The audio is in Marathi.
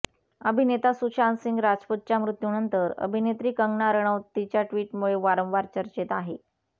अभिनेता सुशांतसिंह राजपूतच्या मृत्यूनंतर अभिनेत्री कंगना रणौत तिच्या ट्विटमुळे वारंवार चर्चेत आहे